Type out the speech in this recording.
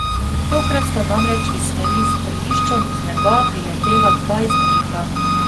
Tokrat sta namreč iz smeri strelišča z neba priletela dva izstrelka.